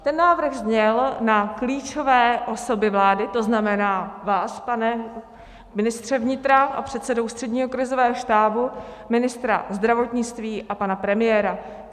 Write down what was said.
Ten návrh zněl na klíčové osoby vlády, to znamená vás, pane ministře vnitra a předsedo Ústředního krizového štábu, ministra zdravotnictví a pana premiéra.